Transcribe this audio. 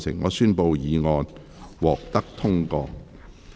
我宣布議案獲得通過。